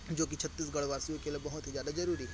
जो कि छत्तीसगढ़ वासियों के लिए बहोत ही ज्यादा जरुरी है।